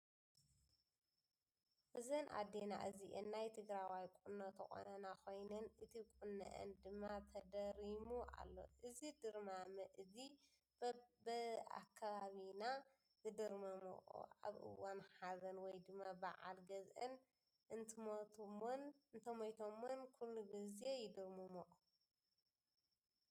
እዘን ኣዴና እዚአን ናይ ትግራወይ ቁኖ ዝተቆነና ኮይነን እቲ ቁንኣን ድማ ተደሪሙ ኣሎ። እዚ ድርማመ እዚ ብኣከባቢና ዝድርምመኦ ኣብ እዋን ሃዘን ወይ ድማ መዓል ገዝኣን እንተሞተሞን ኩሉ ግዜ ይድርመመኦ።